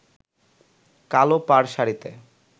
কালো পাড় শাড়িতে